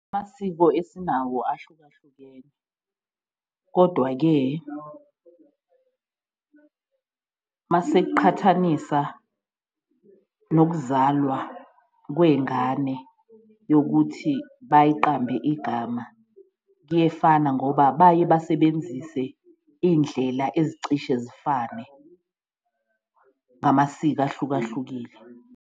Amasiko esinawo ahlukahlukene kodwa-ke mase kuqhathanisa nokuzalwa kweyingane yokuthi bayiqambe igama, kuyefana ngoba baye basebenzise indlela ezicishe zifane ngamasiko ahlukahlukile.